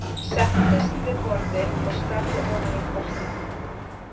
Settist við borðið og starði ofan í kortið.